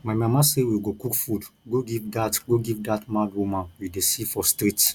my mama say we go cook food go give dat go give dat mad woman we dey see for street